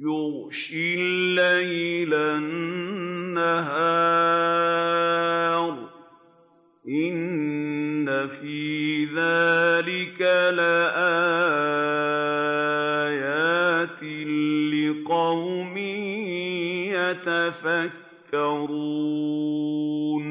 يُغْشِي اللَّيْلَ النَّهَارَ ۚ إِنَّ فِي ذَٰلِكَ لَآيَاتٍ لِّقَوْمٍ يَتَفَكَّرُونَ